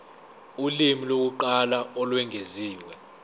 ulimi lokuqala olwengeziwe